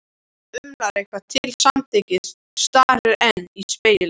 Júlía umlar eitthvað til samþykkis, starir enn í spegilinn.